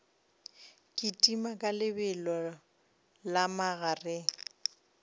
kitima ka lebelo la magareng